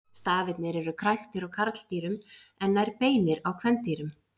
Stafirnir eru kræktir á karldýrum en nær beinir á kvendýrum.